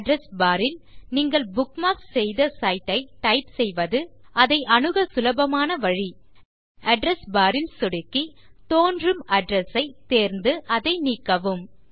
address bar ல் நீங்கள் bookmark செய்த சைட் ஐ டைப் செய்வது அதை அணுக சுலபமான வழி அட்ரெஸ் barல் சொடுக்கி தோன்றும் அட்ரெஸ் ஐ தேர்ந்து அதை நீக்கவும்